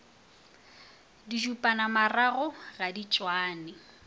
didupanamarago ga di tšwane a